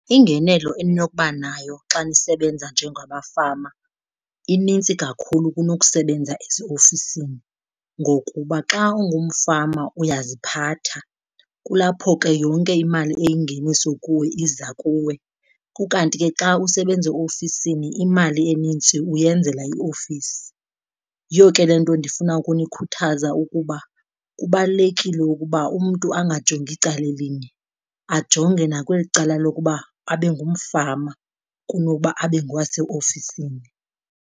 Ingenelo eninokuba nayo xa nisebenza njengamafama inintsi kakhulu kunokusebenza eziofisini. Ngokuba xa ungumfama uyaziphatha, kulapho ke yonke imali eyingeniso kuwe iza kuwe, ukanti ke xa usebenza eofisini imali enintsi uyenzela iofisi. Yiyo ke le nto ndifuna ukunikhuthaza ukuba kubalulekile ukuba umntu angajongi icala elinye ajonge nakweli cala lokuba abe ngumfama kunokuba abe ngowaseofisini.